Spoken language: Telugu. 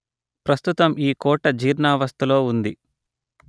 ప్రస్థుతం ఈ కోట జీర్ణావస్థలో ఉంది